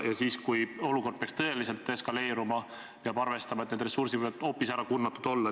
Ja siis, kui olukord peaks tõeliselt eskaleeruma, peab arvestama, et need ressursid võivad hoopis ära kurnatud olla.